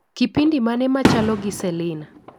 Kipindi mane machalo gi selina